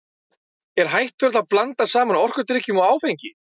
Er hættulegt að blanda saman orkudrykkjum og áfengi?